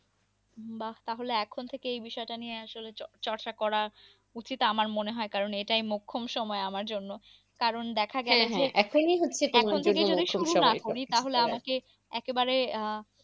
বাঃ তাহলে এখন থেকেই এ বিষয়টা নিয়ে আসলে চ ~চর্চা করা উচিত আমার মনে হয় কারণ এটাই মোক্ষম সময়, আমার জন্য। কারণ দেখা গেছে যে, হ্যাঁ হ্যাঁ এখনই হচ্ছে তোমার জন্য মোক্ষম সময়। এখন থেকে যদি শুরু না করি তাহলে আমাকে একবারে আহ